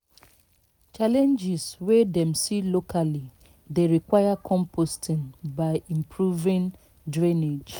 challenges wey dem see locally dey require composting by improving drainage